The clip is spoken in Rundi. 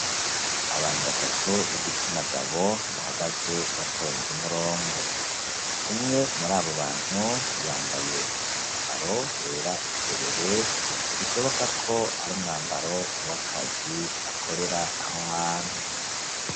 Abantu batatu b'igitsina gabo bahagaze batonze umurongo, umwe muri abo bantu yambaye umwambaro wera derere bishobokako ari umwambaro w'akazi akorera aho hantu.